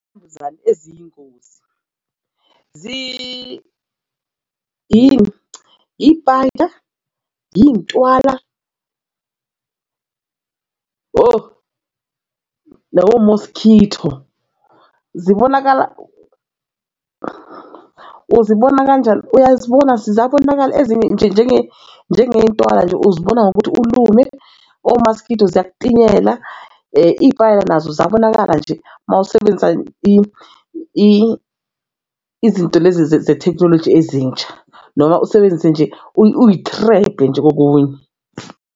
Mbuzane eziyingozi ipayda iyntwala no-mosquito zibonakala uzibona kanjani? Uyazibona zabonakala ezinye nje ngentwala nje, uzibona ngokuthi ulume omaskito ziyakutinyela iy'payela nazo ziyabonakala nje uma usebenzisa izinto lezi zethekhinoloji ezintsha noma usebenzise nje uyitrephe nje kokunye.